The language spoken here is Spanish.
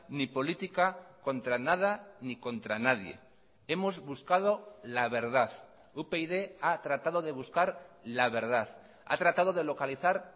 ni política contra nada ni contra nadie hemos buscado la verdad upyd ha tratado de buscar la verdad ha tratado de localizar